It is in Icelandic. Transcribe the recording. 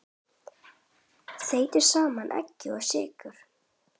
Þeytið saman egg og sykur.